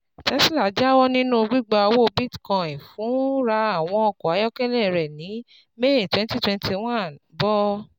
Tesla jáwọ́ nínú gbígba owó Bitcoin fún ra àwọn ọkọ ayọ́kẹ́lẹ́ rẹ̀ ní May twenty twenty one, bọ́